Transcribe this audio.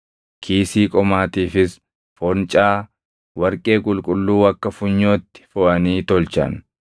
Kiisii qomaatiifis foncaa warqee qulqulluu akka funyootti foʼanii tolchan.